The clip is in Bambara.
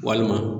Walima